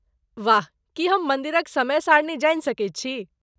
वाह! की हम मन्दिरक समय सारणी जानि सकैत छी?